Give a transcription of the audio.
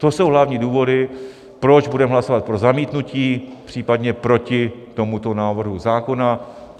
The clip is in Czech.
To jsou hlavní důvody, proč budeme hlasovat pro zamítnutí, případně proti tomuto návrhu zákona.